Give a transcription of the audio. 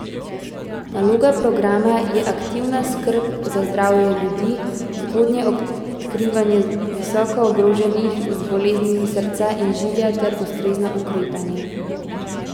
Naloga programa je aktivna skrb za zdravje ljudi, zgodnje odkrivanje visoko ogroženih z boleznimi srca in žilja ter ustrezno ukrepanje.